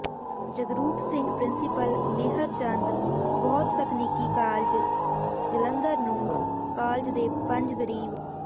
Jagroop Singh principal Mehar Chand ਬਹੁਤਕਨੀਕੀ college Jalandhar ਨੂੰ college ਦੇ ਪੰਜ ਗ਼ਰੀਬ